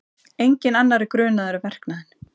Enginn annar er grunaður um verknaðinn